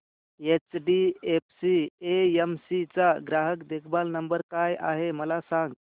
HDFC AMC चा ग्राहक देखभाल नंबर काय आहे मला सांग